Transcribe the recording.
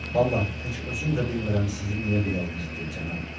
Vallah, heç özüm də bilmirəm sizi niyə belə incitdim, cənab.